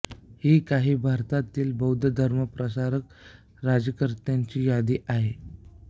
ही काही भारतातील बौद्ध धर्म प्रसारक राज्यकर्त्यांची यादी आहे